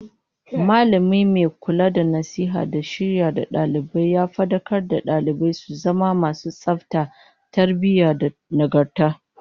Mallami mai kula da nasiha da shiryar da dalibai ya fadakar da dalibai su zama masu tsafta, tarbiyyah da nagarta